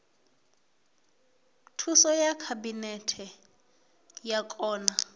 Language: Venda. thuso ya khabinete wa kona